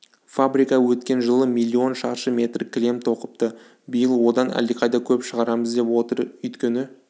фабрика өткен жылы миллион шаршы метр кілем тоқыпты биыл одан әлдеқайда көп шығарамыз деп отыр өйткені